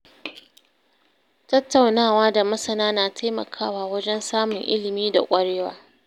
Tattaunawa da masana na taimakawa wajen samun ilimi da ƙwarewa.